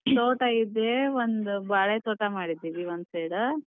ತೋಟ ಇದೆ, ಒಂದ್ ಬಾಳೆ ತೋಟ ಮಾಡಿದೀವಿ ಒಂದ್ side.